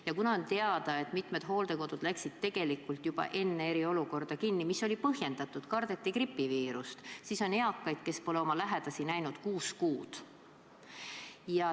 Ja kuna on teada, et mitmed hooldekodud pandi tegelikult juba enne eriolukorda kinni – mis oli põhjendatud, sest kardeti gripiviirust –, siis on eakaid, kes pole oma lähedasi näinud kuus kuud.